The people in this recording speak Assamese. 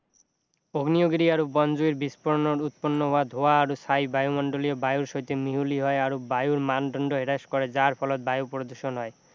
অগ্নে়গিৰি আৰু বনজুইৰ বিস্ফোৰণত উৎপন্ন হোৱা ধোৱা আৰু ছাই বায়ুমণ্ডলীয় বায়ুৰ সৈতে মিহলি হয় আৰু বায়ুৰ মানদণ্ড হ্ৰাস কৰে যাৰ ফলত বায়ু প্ৰদূষণ হয়